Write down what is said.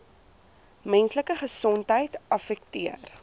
menslike gesondheid affekteer